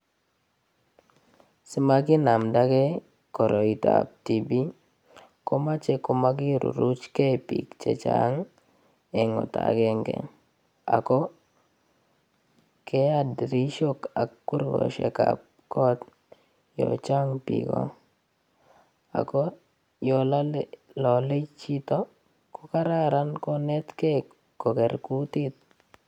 Simakinamdake koroitap TB komochei komakiruruchkei biik che chang eng oto akenge ako keat dirishok ak kurkoshek ap koot yo chang biko ako yo lolei chito ko kararan konetkei koker kutit.